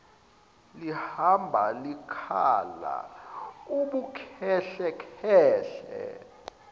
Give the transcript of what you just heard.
lihamba likhala ubukhehlekhehle